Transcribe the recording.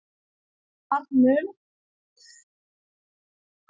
ar mun